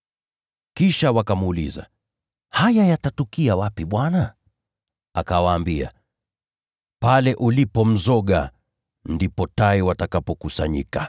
Kisha wakamuuliza, “Haya yatatukia wapi Bwana?” Akawaambia, “Pale ulipo mzoga, huko ndiko tai watakapokusanyika.”